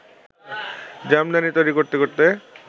জামদানি তৈরি করতে করতে